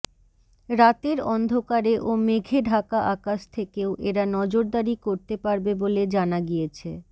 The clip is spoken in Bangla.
রাতের অন্ধকারে ও মেঘে ঢাকা আকাশ থেকেও এরা নজরদারি করতে পারবে বলে জানা গিয়েছে